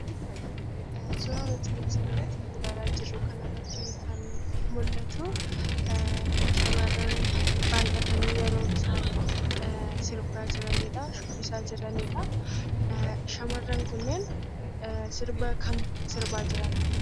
Suuraa nuti asirratti ilaalaa jirru kanarrattii kan mul'atuu; shamarran baay'atanii yeroo isaan sirbaa jiranidha, shubbisaa jiranidha. Shamarran kunneen sirba kam sirbaa jiran?